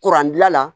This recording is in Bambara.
Kuran dilan la